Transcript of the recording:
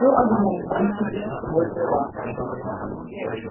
все одно кончились его дела